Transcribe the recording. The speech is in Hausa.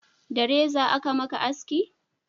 da reza a ka maka haski?